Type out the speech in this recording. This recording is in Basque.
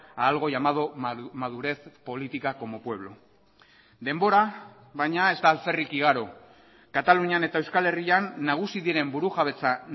a algo llamado madurez política como pueblo denbora baina ez da alferrik igaro katalunian eta euskal herrian nagusi diren burujabetza